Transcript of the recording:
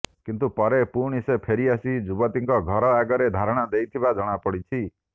କିନ୍ତୁ ପରେ ପୁଣି ସେ ଫେରି ଆସି ଯୁବତୀଙ୍କ ଘର ଆଗରେ ଧାରଣା ଦେଇଥିବା ଜଣାପଡ଼ିଛି